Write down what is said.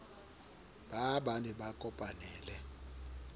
baa ba ne ba kopanele